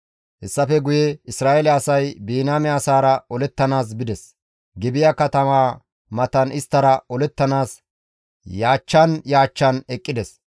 Hessafe guye Isra7eele asay Biniyaame asaara olettanaas bides; Gibi7a katamaa matan isttara olettanaas yaachchan yaachchan eqqides.